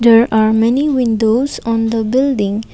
there are many windows on the building.